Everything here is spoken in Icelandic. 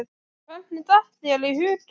Hvernig datt þér í hug að?